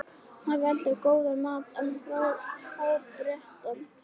hafi eldað góðan mat en fábreyttan.